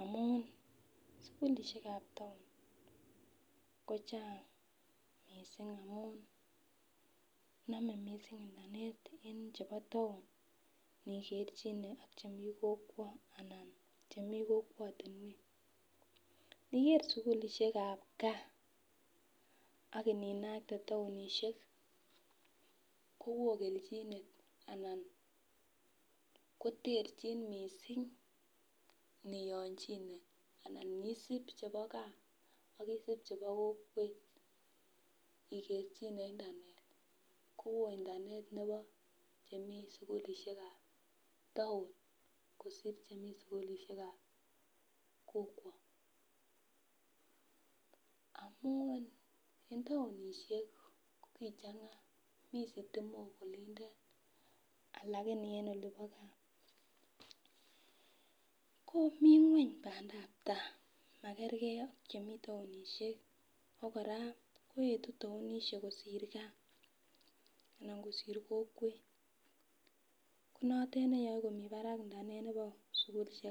amun sukulishekab town kochang missing amun nome missing internet en chebo tao nikerchine ak chemii kokwo ana chemii kokwotunwek . Niger sukulishekab gaa ak ininakte townishek kowoo keoljinen anan koterchin missing nionjine anan isib chebo gaa ak isib chebo kokwet ikerchine internet kowoo internet nebo chemii sukulishekab tao kosir chemii sukulishekab kokwo amun en townishek kichenga mii sitimok olindet lakini e olibo gaa ko mii ngweny pandap tai makergee ak chemii townishek ak koraa koyetu townishik kosir gaa anan kosir kokwet ko notet neyoe komii barak internet nebo sukulishekab.